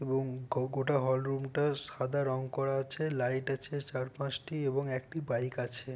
এবং গো-গোটা হল রুমটা সাদা রং করা আছে। লাইট আছে চারপাঁচটি এবং একটি বাইক আছে।